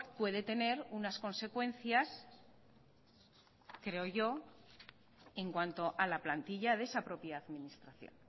puede tener unas consecuencias en cuanto a la plantilla de esa propia administración